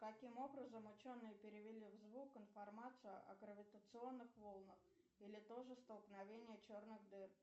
каким образом ученые перевели в звук информацию о гравитационных волнах или то же столкновение черных дыр